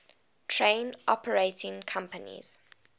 train operating companies